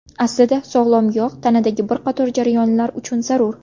Aslida sog‘lom yog‘ tanadagi bir qator jarayonlar uchun zarur.